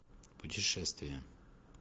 путешествия